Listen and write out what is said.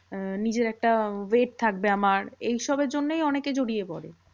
উম নিজের একটা weight থাকবে আমার। এইসবের জন্যেই অনেকে জড়িয়ে পরে।